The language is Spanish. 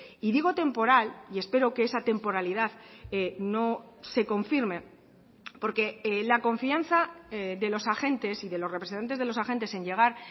y digo temporal y espero que esa temporalidad no se confirme porque la confianza de los agentes y de los representantes de los agentes en llegar